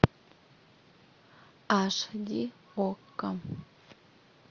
аш ди окко